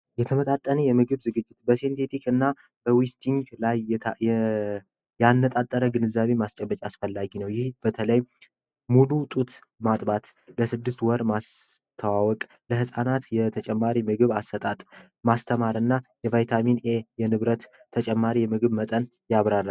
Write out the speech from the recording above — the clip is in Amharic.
የተመጣጠነ የምግብ ዝግጅት እና የአነጣጠረ ግንዛቤ ማስጨበጫ ያስፈላጊ ነው ይህ በተለይ ሙሉ ጡት ማጥባት ለስድስት ወር ማወቅ ለፃናት የተጨማሪ ምግብ አሰጣጥ ማስተማርና የንብረት ተጨማሪ የምግብ መጠን ያብራራል